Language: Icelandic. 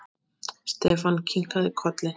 Stefán kinkaði kolli.